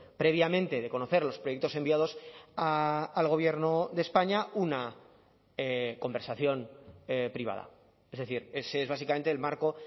previamente de conocer los proyectos enviados al gobierno de españa una conversación privada es decir ese es básicamente el marco